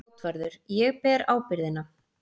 JÁTVARÐUR: Ég ber ábyrgðina.